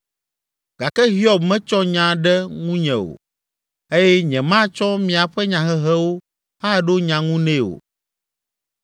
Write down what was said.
Gake Hiob metsɔ nya ɖe ŋunye o eye nyematsɔ miaƒe nyahehewo aɖo nya ŋu nɛ o.